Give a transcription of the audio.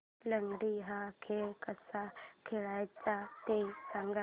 लंगडी हा खेळ कसा खेळाचा ते सांग